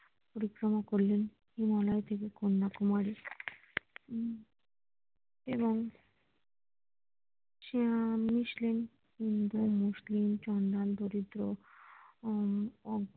পরিক্রমা করলেন হিমালয় থেকে কন্যাকুমারী উম এবং সেও মিশলেন হিন্দু, মুসলিম